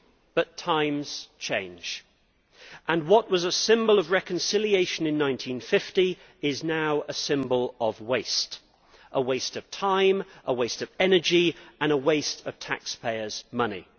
But times change and what was a symbol of reconciliation in 1950 is now a symbol of waste a waste of time, a waste of energy and a waste of taxpayers' money.